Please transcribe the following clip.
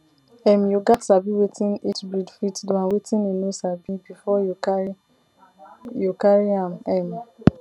um you gats sabi wetin each breed fit do and wetin e no sabi before you carry you carry am um